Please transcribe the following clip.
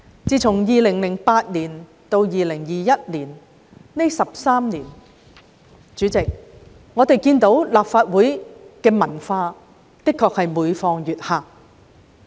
主席，在2008年至2021年的13年間，大家看到立法會的文化的確每況愈下。